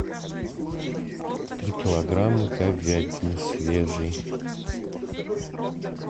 три килограмма говядины свежей